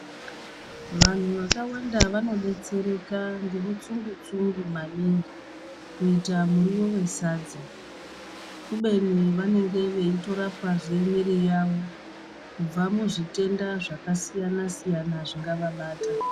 Vanhu vakawanda vano detsereka ngemutsungu tsungu maningi kuita muriwo wesadza, kubeni vanenge veitorapazve mwiiri yavo kubva muzvitenda zvakasiyana-siyana zvingavabata.